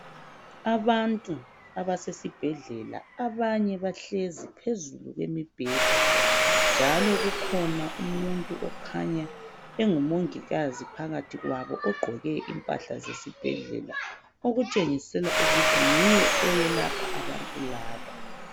Abantu abasesibhedlela abanye bahlezi phezulu kwemibheda njalo kukhona umuntu okhanya engumongikazi ogqqoke impahla zesibhedlela okutshengisela ukuthi nguye oyelapha abantu laba